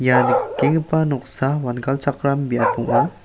ia nikenggipa noksa wangalchakram biap ong·a.